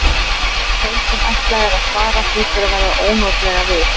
En þeim sem ætlað er að svara hlýtur að verða ónotalega við.